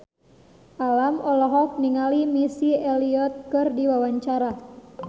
Alam olohok ningali Missy Elliott keur diwawancara